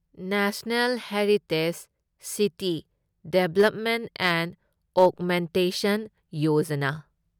national heritage city development and augmentation Yojana